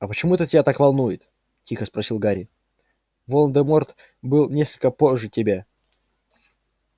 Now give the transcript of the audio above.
а почему это тебя так волнует тихо спросил гарри волан-де-морт был несколько позже тебя